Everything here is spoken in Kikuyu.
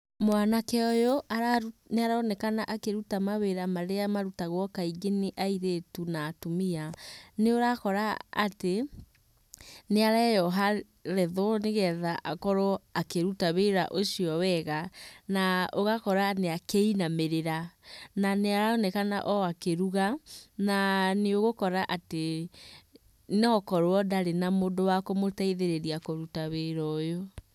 Mwanake ũyũ nĩaronekana akĩruta mawĩra marĩa marutagwo kaingĩ nĩ airĩtu na atumia. Nĩũrakora atĩ nĩareyoha retho, nĩgetha akorwo akĩruta wĩra ũcio wega. Na ũgakora akĩinamĩrĩra, na nĩaronekana ona akĩruga na nĩũgũkora atĩ no ũkorwo ndarĩ na mũndũ wa kũmũteithĩrĩria kũruta wĩra ũyũ.